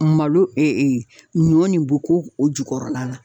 Malo e e ɲɔ ni bo k'o o jukɔrɔla la